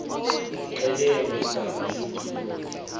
qelele ngama eekilometha